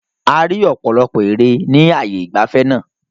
A rí ọ̀pọ̀lọpọ̀ ère ni ààyè ìgbafẹ́ náà.